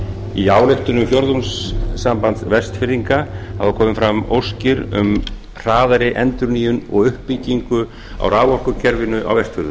í ályktunum fjórðungssambands vestfirðinga hafa komið fram óskir um hraðari endurnýjun og uppbyggingu á raforkukerfinu á